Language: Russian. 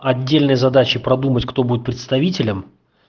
отдельные задачи продумать кто будет представителем